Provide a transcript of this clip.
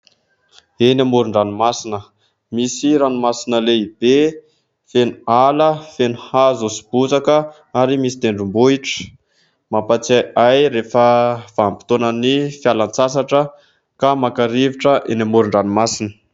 Eny amoron-ranomasina misy ranomasina lehibe feno ala, feno hazo sy bozaka ary misy tendrombohitra mampatsiahy ahy rehefa vanim-potoanan' ny fialan-tsasatra ka maka rivotra eny amoron-dranomasina.